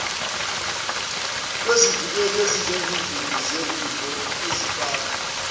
kwezivikeli ezinjengezivimbo ezifakwa